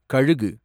கழுகு